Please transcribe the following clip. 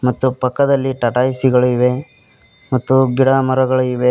ಮತ್ತು ಪಕ್ಕದಲ್ಲಿ ಟಾಟಾ ಎ_ಸಿ ಗಳು ಇವೆ ಮತ್ತು ಗಿಡಗಳಿವೆ.